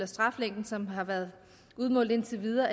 straffe som har været udmålt indtil videre